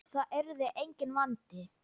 Það yrði enginn vandi.